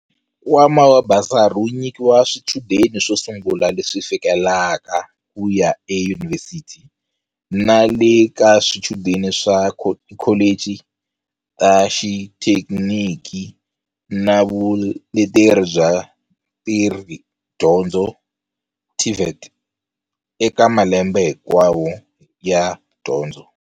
Nkwama wa basari wu nyikiwa swichudeni swo sungula leswi fikelelaka ku ya eyunivhesiti na le ka swichudeni swa tikholichi ta xithekiniki na vuleteri bya ntirhodyondzo, TVET, eka malembe hi nkwawo ya dyondzo.